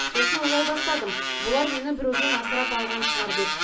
сосын ойладым бұлар мені біреуден асырап алған шығар деп